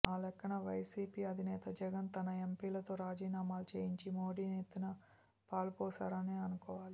ఆ లెక్కన వైసీపీ అధినేత జగన్ తన ఎంపీలతో రాజీనామాలు చేయించి మోదీ నెత్తిన పాలుపోశారనే అనుకోవాలి